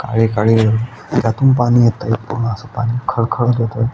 काळी काळी अ त्यातून पाणी येतंय पूर्ण अस पाणी खळ खळ येतंय.